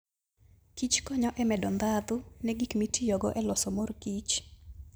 Kich konyo e medo ndhadhu ne gik mitiyogo e loso mor kich.